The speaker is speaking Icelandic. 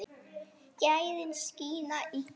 Gæðin skína í gegn.